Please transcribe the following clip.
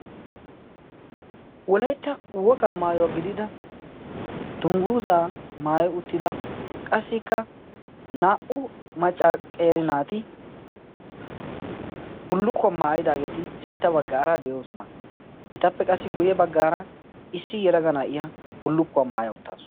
Wolaytta wokaa maayuwaa gidida dungguuzaa maayi uttida qassikka naa"u maccaqerinaati bullukkuwaa maayidaageeti sintta baggaara de'oosona. etappe qassi guyye baggaara issi yelagana iya bullukkuwaa maaya uttaasu.